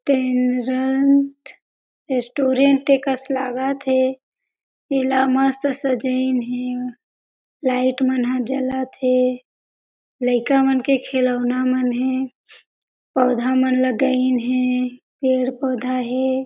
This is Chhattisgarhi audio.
टेन रंट रेस्टोरंट एकस लागत हे एला मस्त सजाइन हे लाइट मन ह जलत हे लइका मन के खिलौना मन हे पौधा मन लगाइन हे पेड़-पौधा हे।